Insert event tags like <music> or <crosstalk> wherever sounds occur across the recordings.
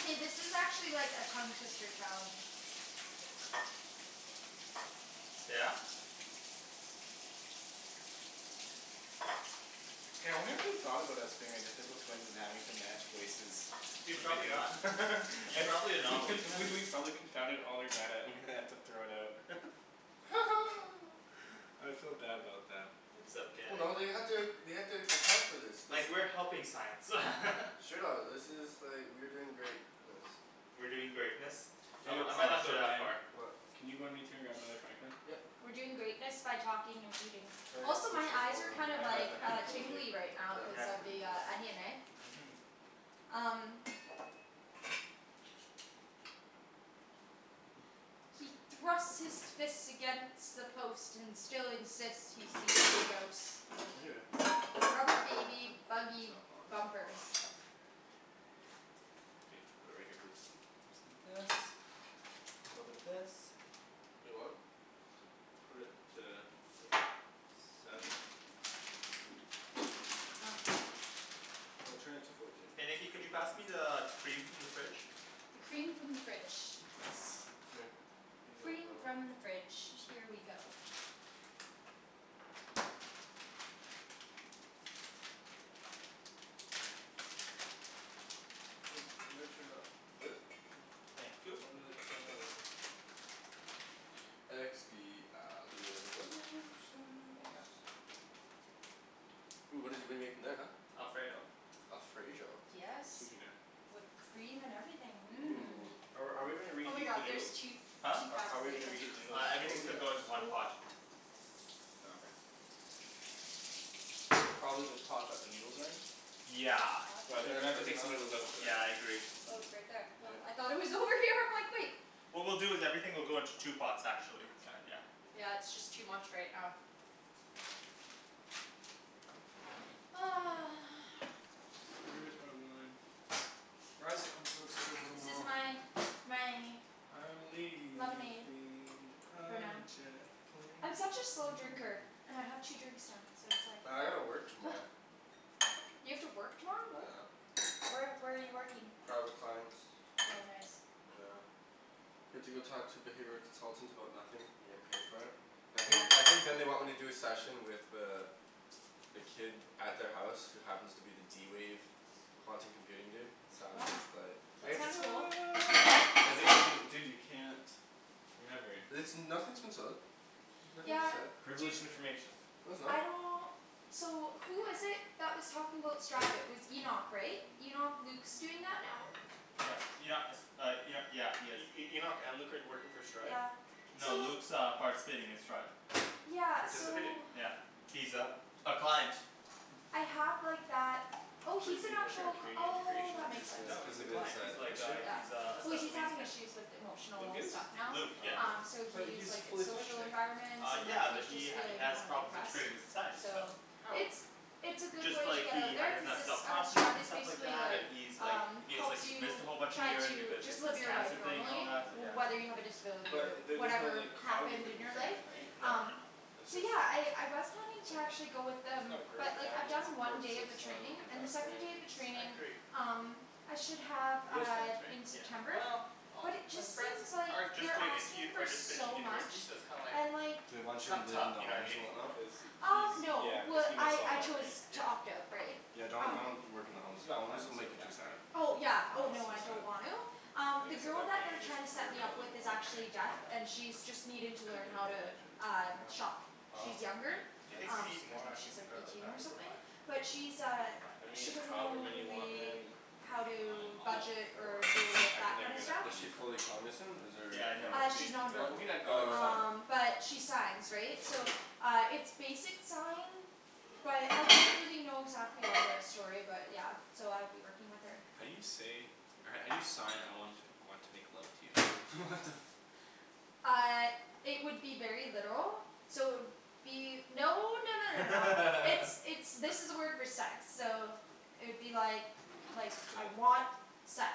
Hey this is actually like a tongue twister challenge. Yeah? K, I wonder if they've thought about us being identical twins and having to match voices Dude to the probably video. not. You're probably an anomaly. I, we we've probably confounded all their data and they have to throw it out. <laughs> <laughs> <noise> I feel bad about them. It's Well okay. no they had to, they had to account for this. This Like, is we're helping science. <laughs> Straight up. This is like, we're doing greatness. We're doing greatness? I mi, Daniel, I might uh not go shit that What Daniel, far. What? can you run to grab me another frying pan? Yep. We're doing greatness by talking and eating. So yeah, Also make my sure it's eyes all are done. kind I of have like a handful of tingly bacon. right Yep. cuz of the onion eh? Mhm. Um. He thrusts his fist against the post and still insists he sees the ghost. Right here. Rubber baby buggy bumpers. <noise> Okay. Put it right here please. Little bit of this, little bit of this. Wait what? Put it to like, seven? Huh. No, turn it to fourteen. Hey Nikki It's could gotta you be pass me <inaudible> the cream from the fridge? The cream from the fridge. Yes. Here. Use that for Cream from that. the fridge. Here we go. Wait, you gotta turn it up. This? Yeah, Thank you. probably like ten or eleven. Here you Expialidocious. go. Ooh what did we make in that huh? Alfredo. Alfredo? Yes. Excuse me there. With cream and everything, Ooh. mmm. Are are we gonna Oh my reheat the God there's noodles? two, Huh? two How pounds how are of we gonna bacon. reheat the noodles? Uh, Oh everything's gonna yes. go into one pot. <noise> Oh okay. Probably the pot that the noodles are in? Is it Yeah. hot But I think Yeah we're it's gonna there? have to already take the hot. noodles out for that. Yeah I agree. Oh it's right there. Oh I Yep. thought it was over here, I'm like wait. What we'll do is that everything will go into two pots, Okay actually. Kinda yeah. yeah. Yeah it's just too much right now. <noise> Where is my wine? Guys I'm <inaudible> to go to work This is tomorrow. my, my. I'm Lemonade. leaving For on now. a jet plane, I'm such a slow don't drinker. know... And I have two drinks now. So it's Well I gotta work like. tomorrow. <noise> You have to work tomorrow, what? Yeah. Where where are you working? Private clients. Oh nice. Yeah. You have to go talk to the behavioral consultants about nothing? And get paid for it? I think, Yeah. I think then they want me to do a session with the the kid at their house who happens to be the d-wave quantum computing dude, so Wow. it's but That's <noise> kind of cool. Dude, <inaudible> dude you can't... Remember. Listen, nothing's in stone. Nothing's Yeah. set. Dude. Privileged information. No it's not. I don't. So who was it that was talking about Stride, it was Enoch right? Enoch, Luke's doing that now? Yeah, Enoch, uh Enoch, yeah he is. E- E- Enoch and Luke are working for Stride? Yeah, No so. Luke's uh participating in Stride. Yeah, so. Participating? Yeah. He's a, a client. I have like that, oh What is he's an he, working at actual, Canadian oh Integration, that makes sense. Oh No cuz he's or? a of his client, he's like issue? a he Yeah. is a Well special he's needs having kid. issues with Luke emotional is? stuff now, Luke, yeah. um Oh. so But he's he's like his fully social functioning. environment Uh and yeah he's but just he feeling has kind of problems depressed, integrating with society, so. so. How? It's, it's a It's good just way to like get out he, he there doesn't cuz have it's self uh confidence Stride and is stuff like basically that, like, and he's like um he's like helps he missed you a whole bunch of try years to because of just the live your life cancer thing and all normally that, yeah. whether you have Oh. a disability or But there's no whatever like, happened cognitive in your life, impairment right? No no um no. No, it's So just, yeah okay. I I was planning It's to like. actually go with He's them, got a great but like I've family done one support day of the training system, he's and got the second day of the friends. I training agree. um I should have Real uh friends right? in Yeah. September, Well, all but it just his friends seems like are just they're going into, asking for are just finishing so much, university, so it's kinda like and like They want you to kinda live tough, in the you know what I homes mean? and whatnot? Cuz he Um no yeah cuz well he missed I all I that chose right? to Yeah. opt out right? Yeah don't, Um don't work in He the homes. he's got Homes plans will to go make you too back right? sad. Oh I yeah don't oh So know. no I sad. don't want to. Um I the guess at girl that that point they're you're just trying to set worried me about up with living is life, hey? actually deaf, and Yeah. she's just needing I to couldn't learn even how to imagine. um I know. shop. Oh. She's younger, Like... Do you think we um need I more think she's onions and like garlic? No eighteen I or think we're something. fine. But she's I think uh, we're fine. I mean she doesn't however know many you want man. really how Um, I'm to all Is budget for or deal it. with I can that never kinda get enough stuff. Is she onion or fully garlic. cognizant? Is there, Yeah I know or what Uh, you she's mean. non You know, we verbal. can add garlic Oh salt. okay. Um but she signs, right? So uh it's basic sign, but, I don't really know exactly all the story about it, yeah. So I'd be working with her. How do you say, how do you sign I want want to make love to you? <laughs> What the Uh it would be very literal, so it would be... No no no no no. It's, <laughs> it's, this is the word for sex. So it would be like like, Yeah. I want sex.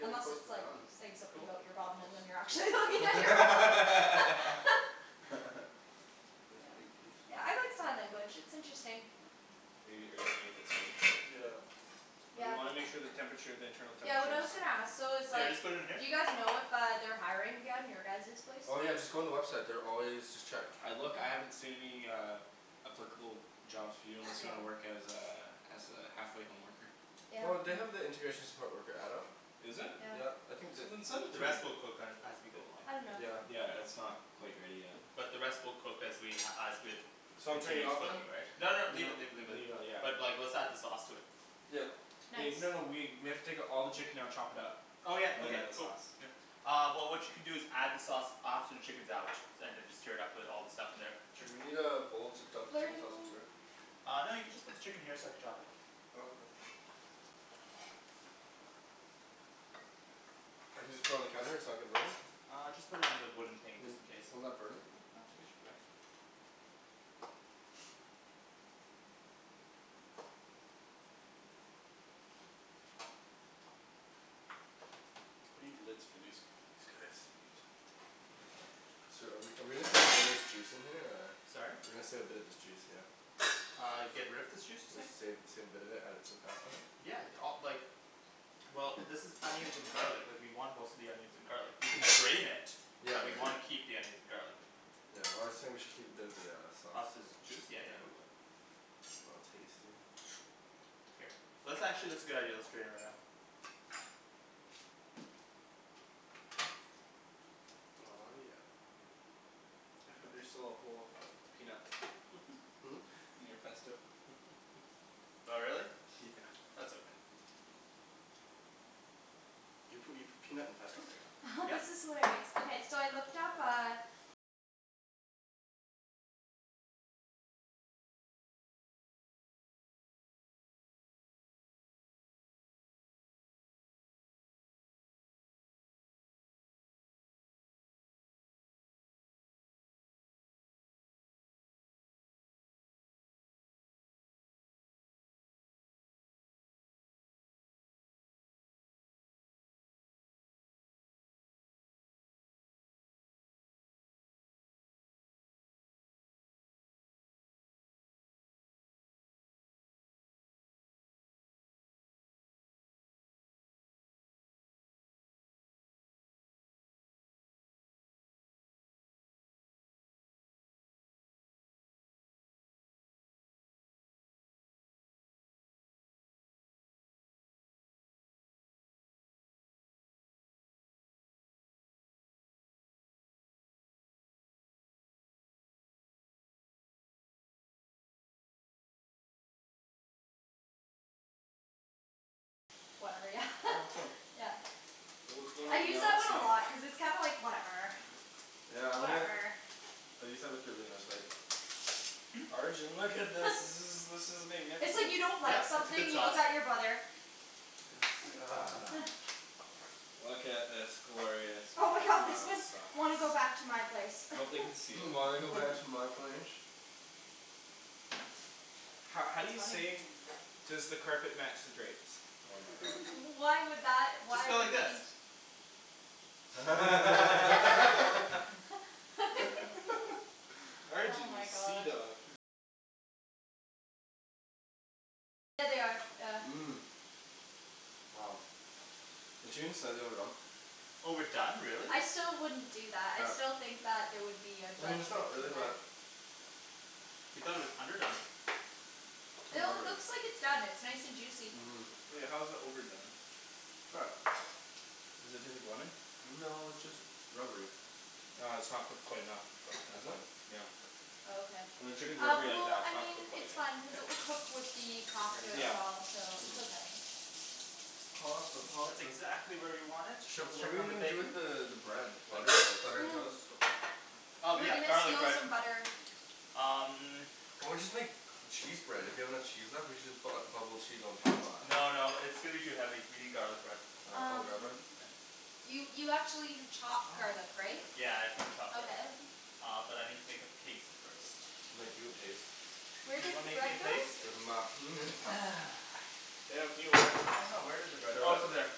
Unless it's like, saying something Cool. about your bum and then you're Take a actually piece looking at out. your bum. <laughs> <laughs> Nice Yeah. big piece. Yeah I like sign language, it's interesting. Hey, are you seeing if it's already cooked? Yeah. But we Yeah. wanna make sure the temperature, the internal Yeah what temperature I is... was gonna ask though is So I like, just put it in here? do you guys know if uh they're hiring again? Your guys' place? Oh yeah just go on the website. They're always, just check. I look, I haven't Okay. seen uh any applicable jobs for you unless you want to work as Okay. a, as a halfway home worker. Yeah. No, they have the integration support worker adult. Is it? Yeah. Yeah. I think You that... didn't send it The to me. rest we'll cook as as we go along. I don't know. Yeah. Yeah it's not quite ready yet. But the rest we'll cook as we as with So I'm turning it continue off then? cooking right? No No, no, leave it leave it leave it. leave it yeah. But like let's add the sauce to it. Yeah. Nice. Wait, no no we we have to take all the chicken out, chop it up, Oh yeah. and then Okay. add the Cool. sauce. Uh well what you can do is add the sauce after the chicken's out, and then just stir it up with all the stuff in there. Sure, we need a bowl to dump the chicken sauce into Flirting. here. Uh no you can just put the chicken here so I could chop it. Oh okay. I can just put it on the counter? It's not gonna burn it? Uh just put it on the wooden thing Would, just in case. wouldn't that burn it? No, I think it should be fine. I need the lids for these, these guys. So are we are we gonna save a little bit of this juice in here, or? Sorry? We're gonna save a bit of this juice, yeah? Uh, get rid of this juice you're saying? Save, save a bit of it, add it to the pasta? Yeah, d- uh like Well, this is onions and garlic. Like, we want most of the onions and garlic. We can strain it. Yeah But we yeah. wanna keep the onions and garlic. Yeah, well I was saying we should keep a bit of the uh, Of sauce, this yeah. juice? Yeah yeah we will. I'll taste it. Here. Let's actually, that's a good idea. Let's drain it right now. Aw, yeah. <laughs> There's still a whole peanut. <laughs> Hmm? In your pesto. <laughs> Oh really? Yeah. That's okay. Do you put, you put peanut in pesto? <laughs> This Yep. is hilarious. Okay, so I looked up, uh Whatever. Yeah Oh cool. <laughs> Yeah. Ooh, it's going I all use that one a melty. lot, cuz it's kind of like, whatever Yeah, I'm gonna I use that with Darlene, I was like Hmm? Arjan, look at this. This <laughs> is this is It's like, magnificent. you don't like Yep, it's a something, good you sauce. look at your brother. Yeah <noise> <noise> Look at this glorious Oh my god, this parmesan one, sauce. "Wanna go back to my place?" <laughs> "Hmm, Wanna go back to my place?" Ho- how do It's you say funny. "Does the carpet match the drapes?" Oh my god. Why would that, Just why go like would you this. need t- <laughs> <laughs> <laughs> <laughs> Oh Arjan, you my god. seadog. Mmm. Wow. The team said they were done. Oh we're done, really? I still wouldn't do that. I Yep. still think that there would be a I mean it's judgment not really, in there. but You thought it was underdone. How No, it lovely. looks like it's done. It's nice and juicy. Mmm. Wait, how is it overdone? Try it. Does it taste like lemon? No it's just rubbery. Ah, it's not cooked quite enough. That's Is it? fine. Yeah. Oh okay. Uh, when chicken's Uh, rubbery like well, that, it's I not mean cooked quite it's yet. fine, cuz it K. will cook with the There pasta you go. as well, so Mhm. it's okay. Pasta, That's pasta. exactly where we want it. Sh- Let's what are check we on the gonna do bacon. with the the Nah. bread? Not even Butter? close. Butter and toast? Cool. Oh We're yeah, gonna garlic steal bread. some butter. Um Or we just make cheese bread? If we have enough cheese left, we should just bu- uh bubble cheese on top of that. No no, it's gonna be too heavy. We need garlic bread. Uh oh the garlic bread? Um Here. You you actually have chopped Stop. garlic right? Yeah, I've gotta chop that. Okay. Uh, but I need to make a paste first. I'll make you a paste. Where Do you did wanna the make me a bread go? paste? With my penis. <noise> I <inaudible> don't know, where did the bread, oh it's over there.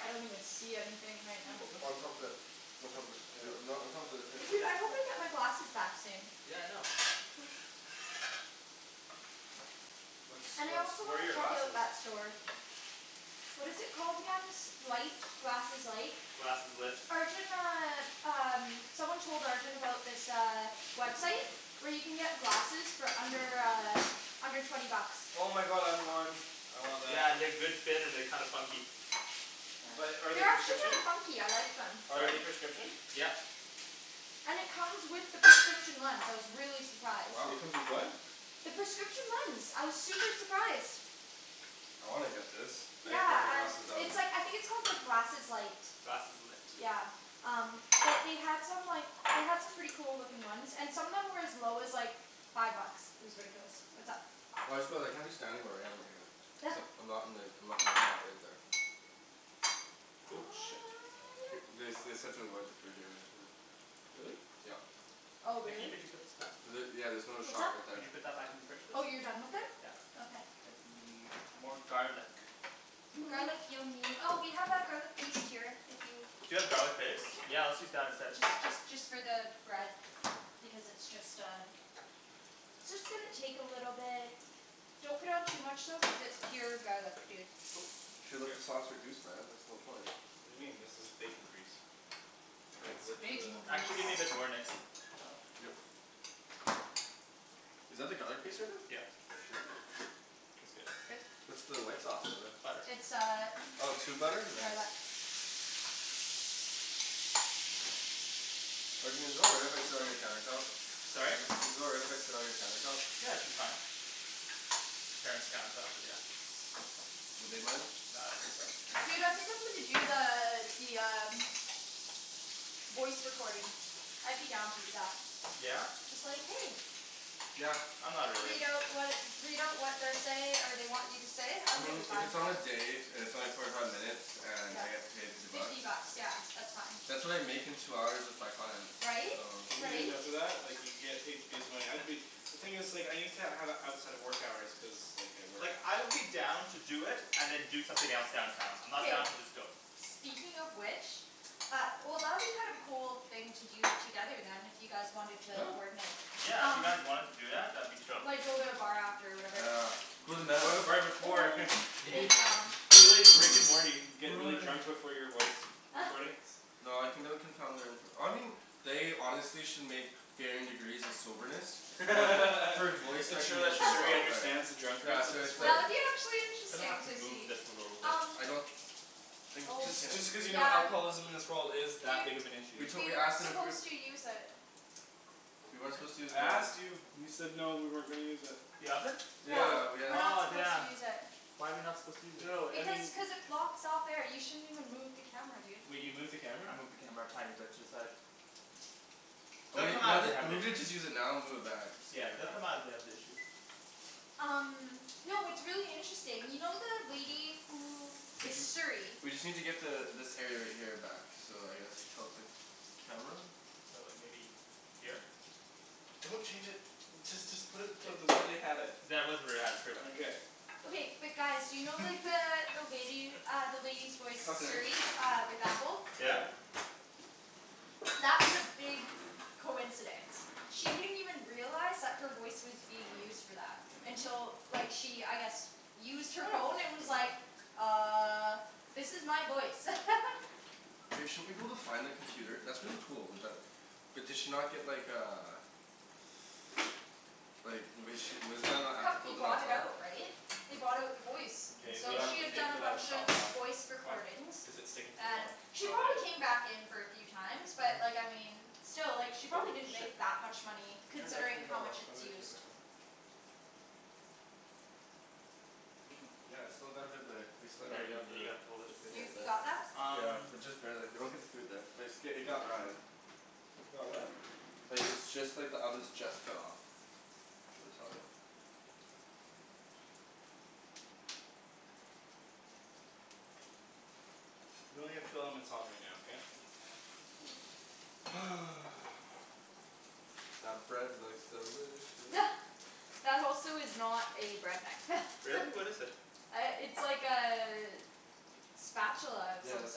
I don't even see anything right Can you now. hold On top this? of the On top of this. Yo, no, on top of the, here. Dude, I hope I get my glasses back soon. Yeah I know. What's, And I what's, also where are wanna your check out glasses? that store. What is it called again? S- light, glasses light? Glasseslit. Arjan uh, um, someone told Arjan about this uh, website where you can get glasses for under, uh under twenty bucks. Oh my god, I want. I want that. Yeah, they're good fit and they're kinda funky. But are they They're actually kinda prescription? funky, I like them. Are Sorry? they prescription? Yep. And it comes with the prescription lens. I was really surprised. Wow. It comes with what? The prescription lens, I was super surprised. I wanna get this. I need to get Yeah, my I, glasses done. it's like, I think it's called like glasses light. Glasseslit. Yeah. Um, but they had some like, they had some pretty cool looking ones, and some of them were as low as, like five bucks. It was ridiculous. What's up? Well I just feel like, I'm just standing where I am right here. <noise> I'm not in the, I'm not in the spot right there. Cool. Shit. Th- <noise> Yep. they they said to avoid the fridge area, yeah. Really? Yep. Oh Nikki really? could you put this back? Was it, yeah there's another What's shot up? right Could there. you put that back in the fridge please? Oh you're done with it? Yeah. Okay. I think we need more garlic. <noise> Garlic you'll nee- oh we have our garlic paste here, if you Do you have garlic paste? Yeah let's use that instead. Just just just for the bread. Because it's just uh it's just gonna take a little bit. Don't put on too much though cuz it's pure garlic, dude. Cool. You should let the sauce reduce man, that's the whole point. What do you mean? This is bacon grease. Can I It's have the lid to the bacon grease. Actually give me a bit more, Nikks. <noise> Yep. Is that the garlic paste right there? Yeah. Shit. That's good. Good. What's the white sauce in there? Butter. It's uh Oh tube butter? Nice. garlic. Arjan is it all right if I sit on your countertop? Sorry? Is it alright if I sit on your countertop? Yeah, it should be fine. Parents' countertop, but yeah. Would they mind? Nah, I don't think so. Dude, I think I'm gonna do the, the um voice recording. I'd be down to do that. Yeah? Just like "Hey!" Yeah. I'm not really. Read out what, read out what they're say, or they want you to say. I I'm mean totally if fine it's with on that. a day, and it's only forty five minutes, and Yeah. I get paid fifty bucks? Fifty bucks. Yeah. That's fine. That's what I make in two hours with my clients. Right? If you get Right? enough of that, like you can get paid decent money. I'd be The thing is like, I need to have it outside of work hours, cuz like I work. Like I would be down to do it and then do something else downtown. I'm not down K. to just go. Speaking of which Uh, well that'd be kind of a cool thing to do together then, if you guys wanted Yeah. to coordinate. Yeah, if you guys wanted to do that, that'd be chill. Like go to a bar after or whatever. Ah. <laughs> Go to the bar before. <laughs> <noise> Yeah. Big lounge. Be like Rick and Morty. Get really drunk <inaudible> before your voice recordings. <laughs> No, I think that would confound their infor- I mean they honestly should make varying degrees of soberness for <laughs> voice Make sure that recognition Siri <laughs> software. understands the Yeah, drunkards of so this it's like Yeah, world. it'd be actually Gonna have interesting to so move see, this a little bit. um I don't think you Oh Just can. just because you know Yeah. alcoholism in this world is that Dude big of an issue. We'd we totally ask weren't them if we supposed to use it. We weren't What? supposed to use I the oven. asked you. You said no, we weren't gonna use it. The oven? Yeah. Yeah. We're not Oh supposed to damn. use it. Why are we not supposed to use it? No I Because mean cuz it's blocks out there, you shouldn't even move the camera dude. Wait, you moved the camera? I moved the camera a tiny bit to the side. Well They'll come maybe, out let if they it, have an maybe issue. just use it now and move it back, it's Yeah good. they'll come out if they have an issue. Um Y'know what's really interesting, you know the lady who Did is you, Siri. we just need to get the, this area right here back. So I guess tilt the camera? So like maybe Here? Don't change it. Just just put it to the way they had it. That was where they had it, pretty much. Okay but guys, do you know like the, <laughs> the lady, uh the lady's voice Cutlery. Siri uh with Apple? Yeah? That was a big coincidence. She didn't even realize that her voice was being used for that. Until like she, I guess used her phone and <noise> was Good enough. like "Uh." "This is my voice." <laughs> Hey, shouldn't we be able to find the computer, that's really cool, with that But did she not get like, uh Like was she, wasn't that not ethical Company to not bought it tell her? out, right? They bought out the voice. K, we So have she to had Oh. take done a the bunch of sauce off. voice Why? recordings. Cuz it's sticking to the And bottom. she Oh okay. probably came back in for a few times, but like I mean still like she Oh probably didn't shit. make that much money I turned it, I turned considering it how all off. much How it's do I turn used. this on? I mean, yeah it's still got a bit of there, we still got a bit of the <inaudible> You, you got that? Um Just barely. They don't get the food there. But it's, i- it got Ryan. It got what? Like, it's just like the oven's just cut off. So it's all good. We only have two elements on right now, okay? <noise> That bread looks delicious. <laughs> That also is not a bread knife. <laughs> Really? What is it? Uh, it's like a spatula of some Yeah it's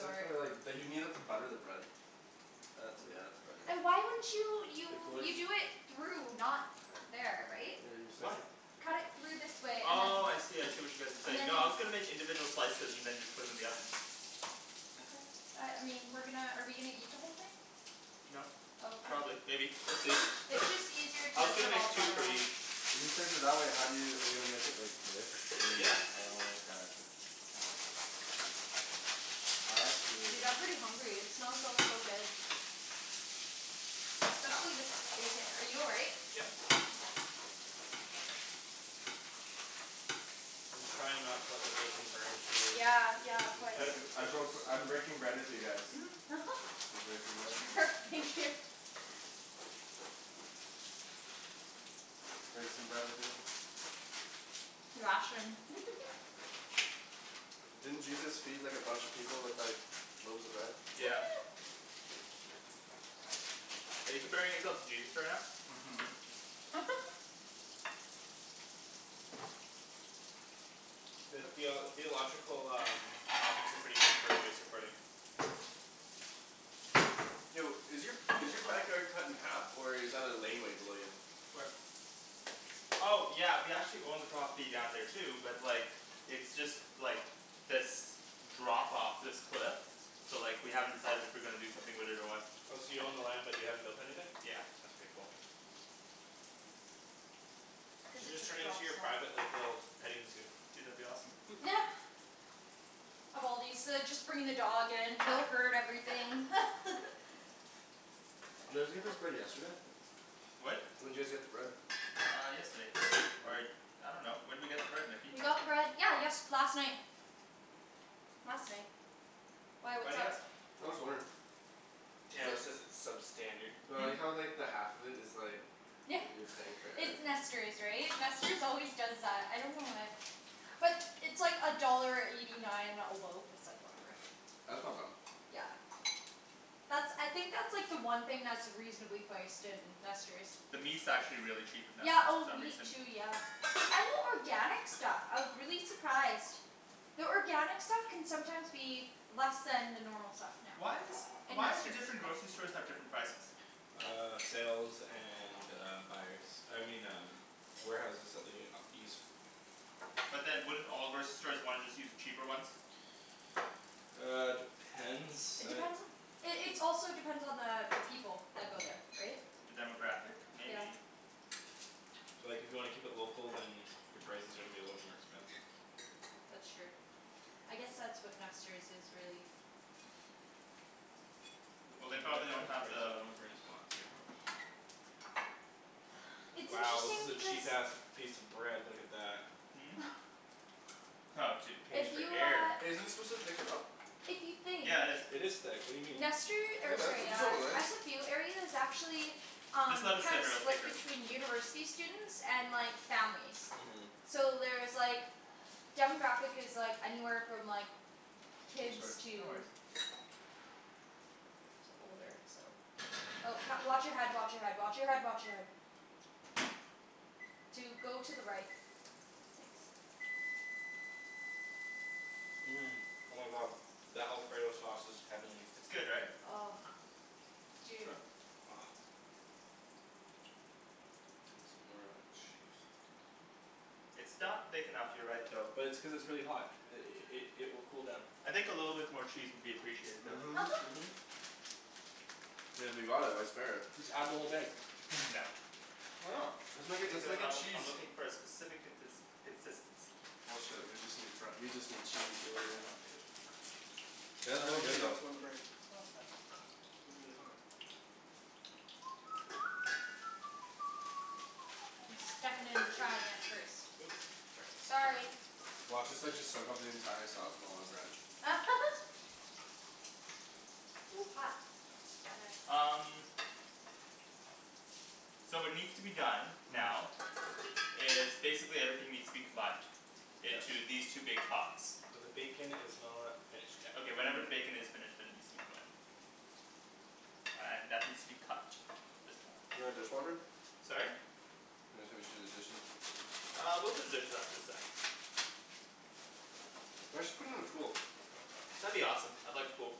like for like, d- you need that to butter the bread. That's it, you have to burn that. Why wouldn't you, Like you, like you do it through, not there, right? Yeah you Why? slice it Cut it through this way, and then Oh, I see, I see what you guys are and saying. then No I was gonna make individual slices and then just put 'em in the oven. Okay. Uh, I mean, we're gonna, are we gonna eat the whole thing? No. Probably. <inaudible> Maybe. We'll see. It's It's just easier I to was gonna put make all the two butter for on. each. If you slice it that way, how do you, are you gonna make it like this? And then, Yeah. oh okay. Uh I Dude, see. I'm pretty hungry, it smells so so good. Especially this bacon. Are you all right? Yep. I'm just trying not to let the bacon burn too. Yeah, yeah, of These course nice <noise> I dishes. broke, I'm breaking bread with you guys. <noise> <laughs> Breaking bread. <laughs> Thank you. Break some bread with me. <inaudible> <laughs> Didn't Jesus feed like a bunch of people with like loaves of bread? Yeah. <noise> Are you comparing yourself to Jesus right now? Mhm. <laughs> Theo- theological, um topics are pretty good for a voice recording. Yo, is your is your backyard cut in half or is that a laneway below you? Where? Oh yeah, we actually own the property down there too, but like It's just, like this drop off, this cliff. So like, we haven't decided if we're gonna do something with it or what. Oh, so you own the land but you haven't built anything? Yeah. That's pretty cool. You Cuz should it just just turn it into drops your private off. like, little petting zoo. Dude, that'd be awesome. <laughs> <laughs> Of all these, uh just bringing the dog in, <inaudible> everything <laughs> Did you guys get this bread yesterday? What? When'd you guys get the bread? Uh yesterday. Or I dunno. When'd we get the bread, Nikki? We got the bread, yeah yest- last night. Last night. Why, Why what's do you up? ask? I'm just wondering. Daniel says it's substandard. Well, I like Hmm? how like the half of it is like Yeah. you're paying for air. It's Nester's, right? Nester's always does that. I don't know why. But it's like a dollar eighty nine a loaf. It's like, whatever. That's not bad. Yeah. That's, I think that's like the one thing that's reasonably priced in Nester's. The meat's actually really cheap at Yeah, Nester's for oh some meat reason. too, yeah. And the organic stuff. I was really surprised. The organic stuff can sometimes be less than the normal stuff now. Why is In Why do Nester's. different grocery stores have different prices? Uh sales and uh buyers. I mean um warehouses that they uh use. But then wouldn't all grocery stores wanna just use the cheaper ones? Uh, depends, It I depends on It it's also depends on the people that go there. Right? The demographic? Yeah. Maybe. So like if you wanna keep it local, then Your prices are gonna be a little bit more expensive. That's true. I guess that's what Nester's is, really. Keep it Well at, they at probably don't have this <inaudible> we the don't wanna burn his pots, right? <noise> It's Wow, this interesting is a because cheap ass piece of bread. Look at that. Hmm? <noise> Oh dude Paying If for <noise> you air. uh Hey, isn't this supposed to thicken up? If you think Yeah it is. It is thick. What do you mean? Nester, Hey or man, what sorry are you uh, telling me Ryan? SFU area is actually Just Um let it simmer, it'll <inaudible> thicker. between university students and like, families. Mhm. So there's like demographic is like anywhere from like Oh kids sorry. No to worries. to older, so Oh wa- watch your head, watch your head, watch your head, watch your head. Dude go to the right. Thanks. Mmm. Oh my god. That alfredo sauce is heavenly. It's good right? Oh. Dude. Try? <noise> Gimme some more of that cheese. It's not thick enough, you're right though. But it's cuz it's really hot. I- i- i- it will cool down. I think a little bit more cheese would be appreciated though. <laughs> Mhm. I mean if we bought it, why spare it? Just add the whole thing. <laughs> No. Why not? Let's make a, let's Because make I a w- cheese. I'm looking for a specific contins- consistency. Bullshit, we just need fre- we just need cheese man. Nah dude. Oh <noise> no, you got some Yeah. on the burner. No it's fine. It'd be really hot. I'm <noise> stuffing it and trying it first. Oops, sorry. Sorry. Watch us like just soak up the entire sauce with all our bread. <laughs> Ooh, hot. Gotta Um So what needs to be done, now <noise> is basically everything needs to be combined Yes. into these two big pots. But the bacon is not finished yet. Okay whenever the bacon is finished, then it needs to be combined. Uh and that needs to be cut a bit more. You got a dishwasher? Sorry? I was gonna say we should do the dishes. Uh we'll do the dishes after the sauce. You guys should put in a pool. That'd be awesome. I'd like a pool.